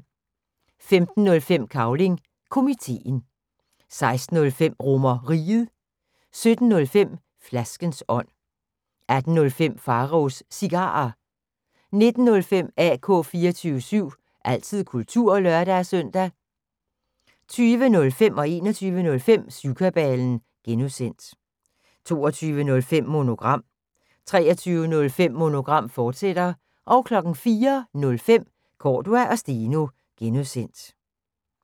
15:05: Cavling Komiteen 16:05: RomerRiget 17:05: Flaskens ånd 18:05: Pharaos Cigarer 19:05: AK 24syv – altid kultur (lør-søn) 20:05: Syvkabalen (G) 21:05: Syvkabalen (G) 22:05: Monogram 23:05: Monogram, fortsat 04:05: Cordua & Steno (G)